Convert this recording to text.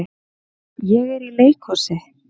Ég er í leikhúsi.